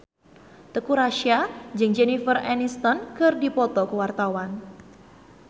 Teuku Rassya jeung Jennifer Aniston keur dipoto ku wartawan